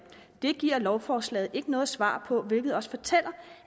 det giver lovforslaget ikke noget svar på hvilket også fortæller